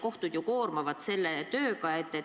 Kohtud on ju koormatud selle tööga.